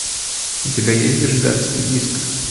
у тебя есть гражданский иск